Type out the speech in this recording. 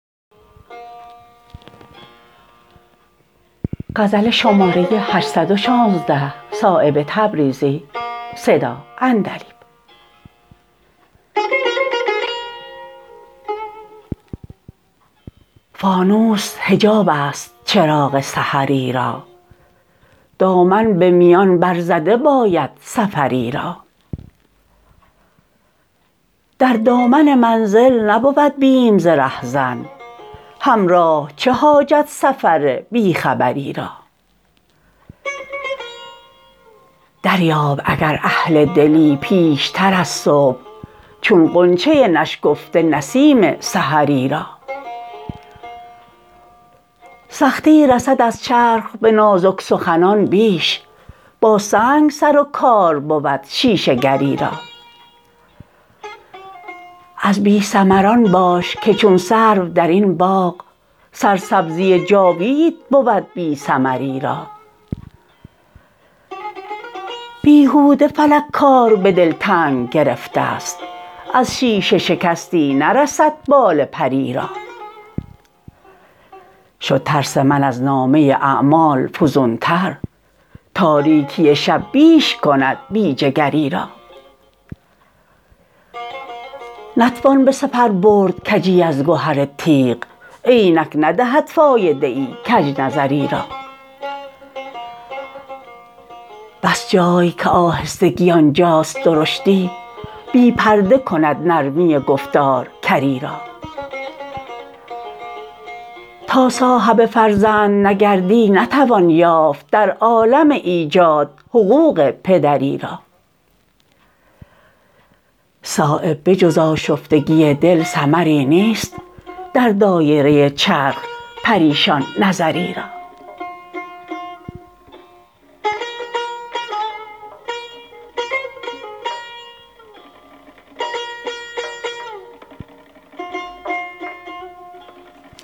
فانوس حجاب است چراغ سحری را دامن به میان بر زده باید سفری را در دامن منزل نبود بیم ز رهزن همراه چه حاجت سفر بی خبری را دریاب اگر اهل دلی پیشتر از صبح چون غنچه نشکفته نسیم سحری را سختی رسد از چرخ به نازک سخنان بیش با سنگ سر و کار بود شیشه گری را از بی ثمران باش که چون سرو درین باغ سرسبزی جاوید بود بی ثمری را بیهوده فلک کار به دل تنگ گرفته است از شیشه شکستی نرسد بال پری را شد ترس من از نامه اعمال فزون تر تاریکی شب بیش کند بی جگری را نتوان به سپر برد کجی از گهر تیغ عینک ندهد فایده ای کج نظری را بس جای که آهستگی آنجاست درشتی بی پرده کند نرمی گفتار کری را تا صاحب فرزند نگردی نتوان یافت در عالم ایجاد حقوق پدری را صایب به جز آشفتگی دل ثمری نیست در دایره چرخ پریشان نظری را